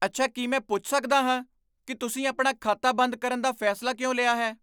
ਅੱਛਾ। ਕੀ ਮੈਂ ਪੁੱਛ ਸਕਦਾ ਹਾਂ ਕਿ ਤੁਸੀਂ ਆਪਣਾ ਖਾਤਾ ਬੰਦ ਕਰਨ ਦਾ ਫੈਸਲਾ ਕਿਉਂ ਲਿਆ ਹੈ?